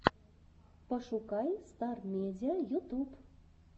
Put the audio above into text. пошукай стар медиа ютуб